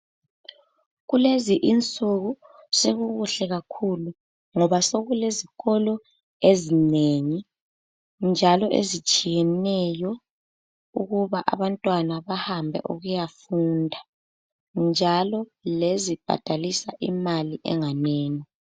Kulezi insuku sokukuhle kakhulu ngoba sokulezikolo ezinengi njalo ezitshiyeneyo ukuba abantwana bahambe ukuyafunda njalo lezibhadalisa imali enganini.